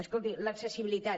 escolti l’accessibilitat